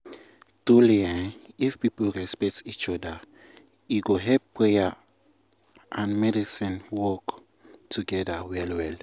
truely eeh if people respect each oda e go help prayer wait and medicine work wait- togeda well well.